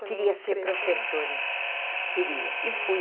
Queria ser professora, queria e fui.